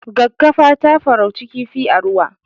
Gaggafa ta farauci kifi a ruwa